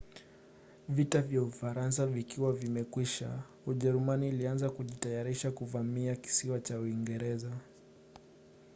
vita kwa ufaransa vikiwa vimekwisha ujerumani ilianza kujitayarisha kuvamia kisiwa cha uingereza